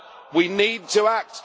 We need to act.